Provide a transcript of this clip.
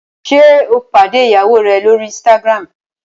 ṣe o pàdé ìyàwó rẹ l'ori Instagram?